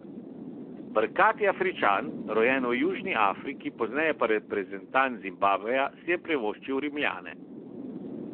Brkati Afričan, rojen v Južni Afriki, pozneje pa reprezentant Zimbabveja, si je privoščil Rimljane.